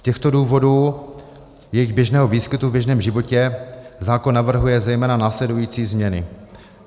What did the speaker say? Z těchto důvodů jejich běžného výskytu v běžném životě zákon navrhuje zejména následující změny.